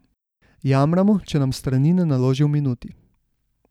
Jamramo, če nam strani ne naloži v minuti.